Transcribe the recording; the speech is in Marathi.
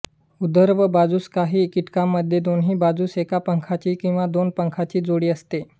ऊर्ध्व बाजूस काही कीटकांमध्ये दोन्ही बाजूंस एका पंखाची किंवा दोन पंखांची जोडी असते